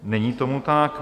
Není tomu tak.